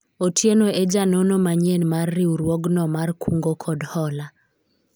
Otieno e janono manyien mar riwruogno mar kungo kod hola